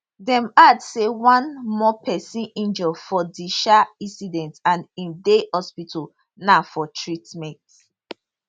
dem add say one more pesin injure for di um incident and im dey hospital now for treatment